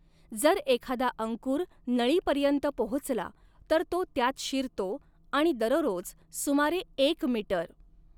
जर एखादा अंकुर नळीपर्यंत पोहोचला, तर तो त्यात शिरतो आणि दररोज सुमारे एक मिटर .